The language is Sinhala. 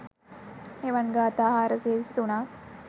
එවන් ගාථා 423 ක්